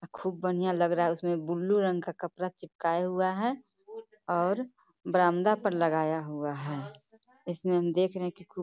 खूब बढीया लग रहा है उसमें ब्लू रंग का कपड़ा चिपकाया हुआ है और बरमदा पर लगाया हुआ है इसमें हम देख रहे हैं की --